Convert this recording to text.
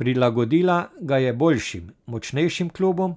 Prilagodila ga je boljšim, močnejšim klubom,